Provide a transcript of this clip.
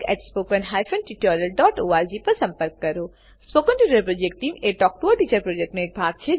spoken tutorial project talk to a teacher પ્રોજેક્ટનો એક ભાગ છે